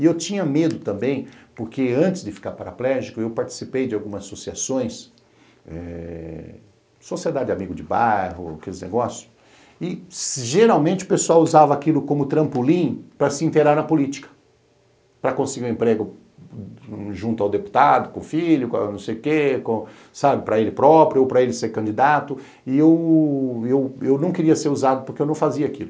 E eu tinha medo também, porque antes de ficar paraplégico, eu participei de algumas associações, eh, Sociedade Amigo de Bairro, aqueles negócios, e geralmente o pessoal usava aquilo como trampolim para se inteirar na política, para conseguir um emprego junto ao deputado, com filho, com não sei o quê, sabe, para ele próprio, ou para ele ser candidato, e eu eu não queria ser usado porque eu não fazia aquilo.